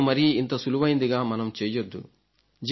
చావును మరీ ఇంత సులువైందిగా మనం చేయవద్దు